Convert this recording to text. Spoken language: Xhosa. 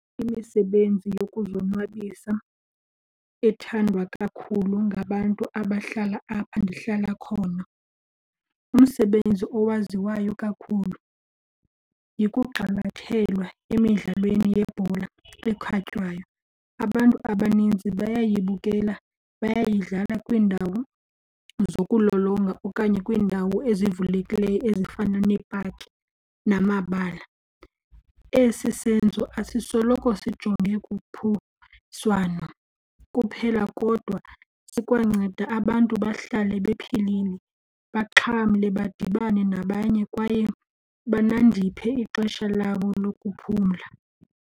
Imisebenzi yokuzonwabisa ethandwa kakhulu ngabantu abahlala apha ndihlala khona, umsebenzi owaziwayo kakhulu yikugxilathelwa emidlalweni yebhola ekhatywayo. Abantu abaninzi bayibukele, bayayidlala kwiindawo zokulolonga okanye kwiindawo ezivulekileyo ezifana neepaki namabala. Esi senzo asisoloko sijonge kuphiswano kuphela kodwa sikwanceda abantu bahlale bephilile, baxhamle badibane nabanye kwaye banandiphe ixesha labo lokuphumla.